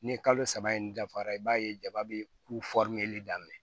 Ni kalo saba in dafara i b'a ye jaba bɛ kuli daminɛ